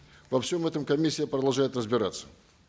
во всем этом комиссия продолжает разбираться